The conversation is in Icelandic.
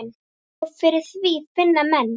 Og fyrir því finna menn.